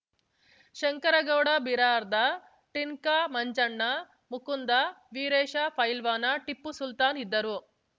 ಶಂಕರಗೌಡ ಬಿರಾರ್ದಾ ಟಿಂಕ ಮಂಜಣ್ಣ ಮುಕುಂದ ವೀರೇಶ ಪೈಲ್ವಾನ ಟಿಪ್ಪು ಸುಲ್ತಾನ್‌ ಇದ್ದರು